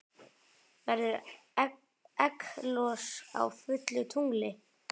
Verður egglos á fullu tungli?